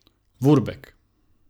Vurbek.